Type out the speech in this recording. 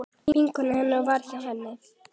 Vinkona hennar var hjá henni.